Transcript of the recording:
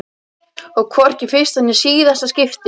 Og hvorki í fyrsta né síðasta skipti.